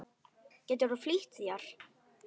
Geturðu flýtt þér.